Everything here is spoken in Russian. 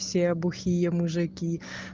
все бухие мужики